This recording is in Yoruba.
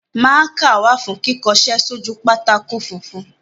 Mákà wà fún kíkọṣẹ́ sójú pátákó funfun.